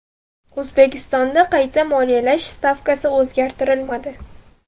O‘zbekistonda qayta moliyalash stavkasi o‘zgartirilmadi.